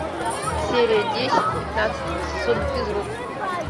серия десять пятнадцатого сезона физрук